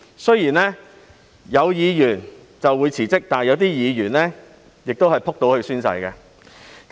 雖然有議員辭職，但亦有議員會"仆倒"去宣誓。